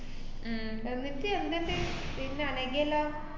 ഉം എന്നിട്ട് എന്തുണ്ട് പിന്നെ അനഘേല്ലാം?